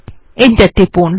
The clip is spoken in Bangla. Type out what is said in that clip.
এন্টার টিপুন